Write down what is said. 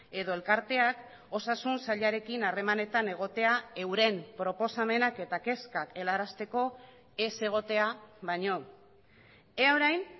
edo elkarteak osasun sailarekin harremanetan egotea euren proposamenak eta kezkak helarazteko ez egotea baino ea orain